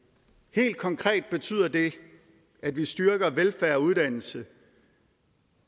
helt konkret betyder det at vi styrker velfærd og uddannelse